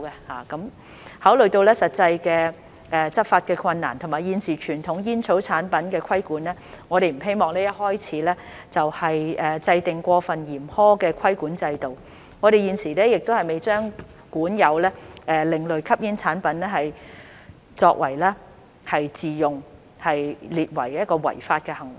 考慮到實際的執法困難，以及現時傳統煙草產品的規管，我們不希望一開始就制訂過分嚴苛的規管制度，我們現時亦未把管有另類吸煙產品作自用列為違法行為。